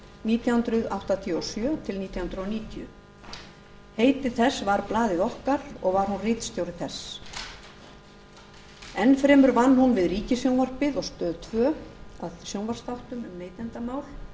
nítján hundruð áttatíu og sjö til nítján hundruð níutíu heiti þess var blaðið okkar og var hún ritstjóri þess enn fremur vann hún við ríkissjónvarpið og stöð tvö að sjónvarpsþáttum um neytendamál